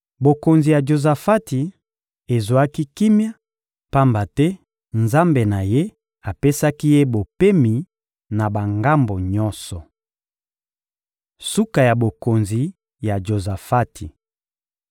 Bokonzi ya Jozafati ezwaki kimia, pamba te Nzambe na ye apesaki ye bopemi na bangambo nyonso. Suka ya bokonzi ya Jozafati (1Ba 22.41-51)